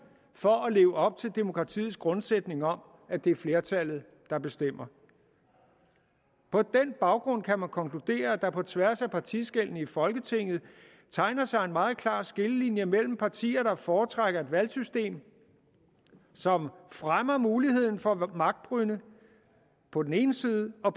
for at kunne leve op til demokratiets grundsætning om at det er flertallet der bestemmer på den baggrund kan man konkludere at der på tværs af partiskellene i folketinget tegner sig en meget klar skillelinje mellem partier der foretrækker et valgsystem som fremmer muligheden for magtbrynde på den ene side og